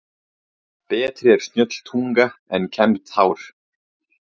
Betri er snjöll tunga en kembt hár.